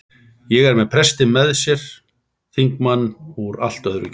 Og er með prestinn með sér- þingmann úr allt öðru kjördæmi!